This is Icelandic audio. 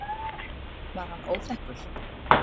Var hann óþekkur?